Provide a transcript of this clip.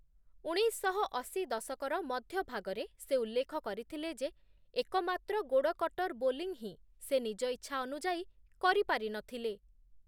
ଉଣେଇଶଶହ ଅଶୀ ଦଶକର ମଧ୍ୟଭାଗରେ ସେ ଉଲ୍ଲେଖ କରିଥିଲେ ଯେ, ଏକମାତ୍ର ଗୋଡ଼ କଟର୍‌ ବୋଲିଂ ହିଁ, ସେ ନିଜ ଇଚ୍ଛାନୁଯାୟୀ କରିପାରିନଥିଲେ ।